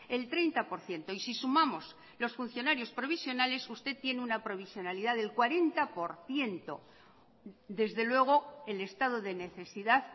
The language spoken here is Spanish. el treinta por ciento y si sumamos los funcionarios provisionales usted tiene una provisionalidad del cuarenta por ciento desde luego el estado de necesidad